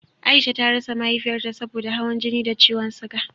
Aisha ta rasa Mahaifiyarta saboda hawan jini da ciwon suga